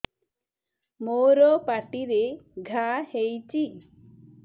ମୋର ପାଟିରେ ଘା ହେଇଚି